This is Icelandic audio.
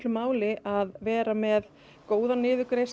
máli að vera með góða niðurgreiðslur